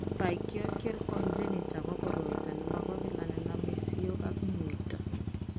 Pachyonychia congenita ko koroito ne mo bo kila ne name siok ak muito.